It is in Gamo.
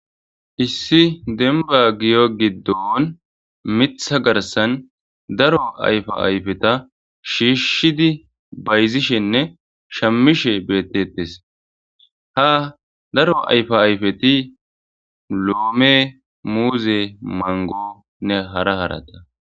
Issi demba giyo giddon mitha garsan daro ayfa ayfeta shiishshidi bayzishenne shammishe bettetes ha daro ayfa ayfeti loome muuze mangonne hara harata